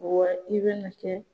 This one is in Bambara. Wa i bɛna kɛ